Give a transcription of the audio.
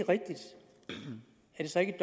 så ikke